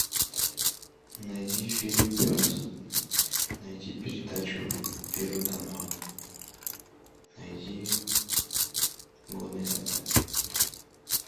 найди фильм пес найти передачу первый канал найди годный контент